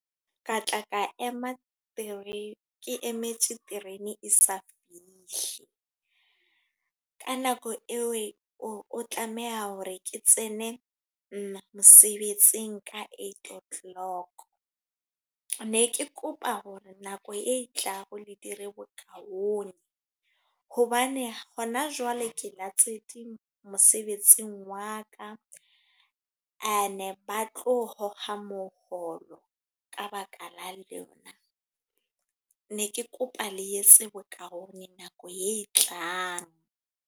Ka tla ka ema three, ke emetse terene e sa fihle. Ka nako eo, o tlameha hore ke tsene mosebetsing ka eight o'clock. Ne ke kopa hore nako e tlang le dire bokaone. Hobane hona jwale ke latetse mosebetsing wa ka. E ne ba tlo kgokga moholo, ka baka la lena. Ne ke kopa le etse bokaone nako e tlang.